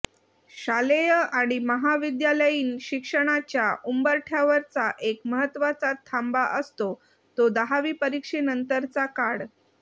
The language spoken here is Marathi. शालेय आणि महाविद्यालयीन शिक्षणाच्या उंबरठ्यावरचा एक महत्त्वाचा थांबा असतो तो दहावी परीक्षेनंतरचा काळ